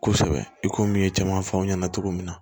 Kosɛbɛ i komi caman f'aw ɲɛna cogo min na